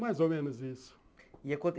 Mais ou menos isso. E aconte